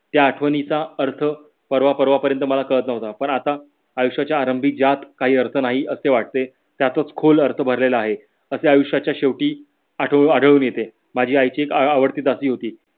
त्या आठवणीचा अर्थ परवा परवा पर्यन्त मला कळत नव्हता पण आता आयुष्याच्या आरंभी ज्यात काही अर्थ नाही असे वाटते त्यातच खोल अर्थ भरलेला आहे. असे आयुष्याच्या शेवटी आढळून येते. माझ्या आई ची एक आवडती दासी होती.